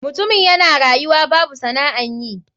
Mutumin yana rayuwa babu sana'an yi.